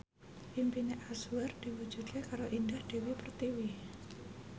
impine Anwar diwujudke karo Indah Dewi Pertiwi